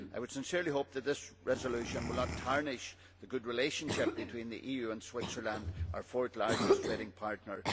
I would sincerely hope that this resolution will not tarnish the good relationship between the EU and Switzerland, our fourth largest trading partner.